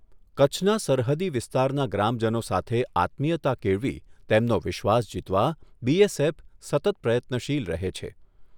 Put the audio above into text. કચ્છના સરહદી વિસ્તારના ગ્રામજનો સાથે આત્મીયતા કેળવી તેમનો વિશ્વાસ જીતવા બીએસએફ સતત પ્રયત્નશીલ રહે છે.